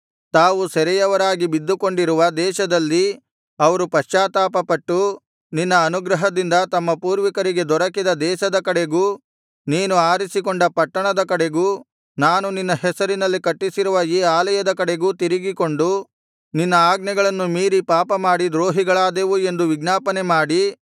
ತಾವು ಸೆರೆಯವರಾಗಿ ಬಿದ್ದುಕೊಂಡಿರುವ ದೇಶದಲ್ಲಿ ಅವರು ಪಶ್ಚಾತ್ತಾಪಪಟ್ಟು ನಿನ್ನ ಅನುಗ್ರಹದಿಂದ ತಮ್ಮ ಪೂರ್ವಿಕರಿಗೆ ದೊರಕಿದ ದೇಶದ ಕಡೆಗೂ ನೀನು ಆರಿಸಿಕೊಂಡ ಪಟ್ಟಣದ ಕಡೆಗೂ ನಾನು ನಿನ್ನ ಹೆಸರಿನಲ್ಲಿ ಕಟ್ಟಿಸಿರುವ ಈ ಆಲಯದ ಕಡೆಗೂ ತಿರುಗಿಕೊಂಡು ನಿನ್ನ ಆಜ್ಞೆಗಳನ್ನು ಮೀರಿ ಪಾಪಮಾಡಿ ದ್ರೋಹಿಗಳಾದೆವು ಎಂದು ವಿಜ್ಞಾಪನೆ ಮಾಡಿ